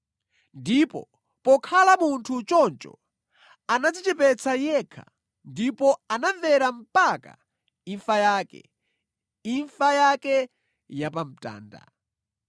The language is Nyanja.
Ndipo pokhala munthu choncho anadzichepetsa yekha ndipo anamvera mpaka imfa yake, imfa yake ya pamtanda!